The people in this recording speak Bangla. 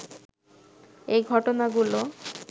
এ ঘটনাগুলো